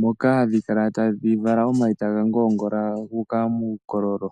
moka hadhi kala tadhi vala omayi taga ngoongola gu uka muukololo.